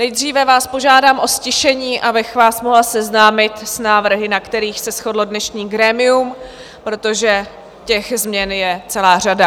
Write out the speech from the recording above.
Nejdříve vás požádám o ztišení, abych vás mohla seznámit s návrhy, na kterých se shodlo dnešní grémium, protože těch změn je celá řada.